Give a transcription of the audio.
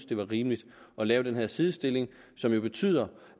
det var rimeligt at lave den her sidestilling som jo betyder